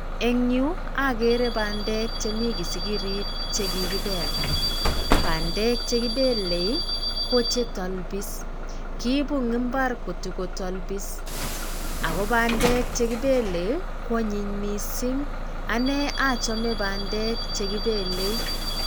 Eng' yu, agere bandek chemi kisikirit chekikipel. Bandek chekipelei, ko chetolpis. Kiibu eng' mbar kotakotolpis. Ago bandek chekipelei, kwanyiny missing ane achome bandek chekipelei.